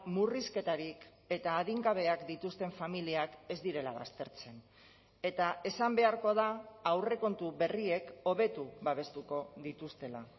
murrizketarik eta adingabeak dituzten familiak ez direla baztertzen eta esan beharko da aurrekontu berriek hobetu babestuko dituztela